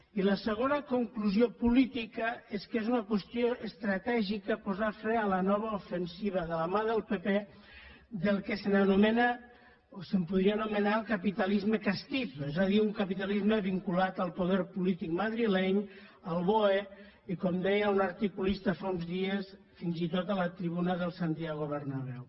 i la segona conclusió política és que és una qüestió estratègica posar fre a la nova ofensiva de la mà del pp del que s’anomena o es podria anomenar el capitalisme castizopolític madrileny al boe i com deia un articulista fa uns dies fins i tot a la tribuna del santiago bernabéu